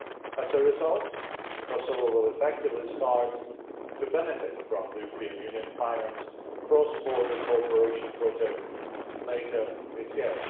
As a result, Kosovo will effectively start to benefit from the European Union financed cross border cooperation project later this year.